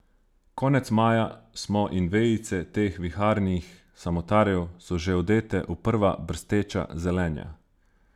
Konec maja smo in vejice teh viharnih samotarjev so že odete v prva brsteča zelenja.